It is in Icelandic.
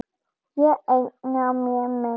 Ég eigna mér menn.